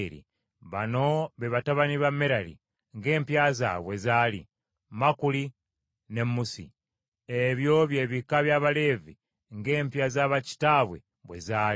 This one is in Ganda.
Bano be batabani ba Merali ng’empya zaabwe bwe zaali: Makuli ne Musi. Ebyo bye bika by’Abaleevi ng’empya za bakitaabwe bwe zaali.